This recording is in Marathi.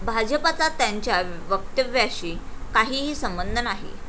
भाजपाचा त्यांच्या वक्तव्याशी काहीही संबंध नाही.